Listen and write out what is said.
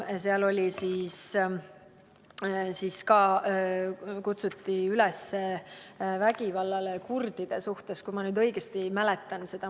Selles kaasuses kutsuti üles vägivallale kurdide suhtes, kui ma õigesti mäletan.